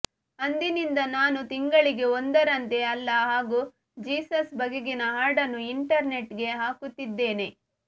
ಅಂದಿನಿಂದ ನಾನು ತಿಂಗಳಿಗೆ ಒಂದರಂತೆ ಅಲ್ಲಾ ಹಾಗೂ ಜೀಸಸ್ ಬಗೆಗಿನ ಹಾಡನ್ನು ಇಂಟರ್ ನೆಟ್ ಗೆ ಹಾಕುತ್ತಿದ್ದೇನೆ